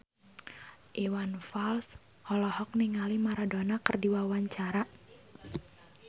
Iwan Fals olohok ningali Maradona keur diwawancara